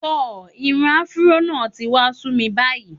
Tò, irun afuró náà ti wá sú mi báyìí.